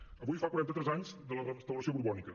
avui fa quaranta tres anys de la restauració borbònica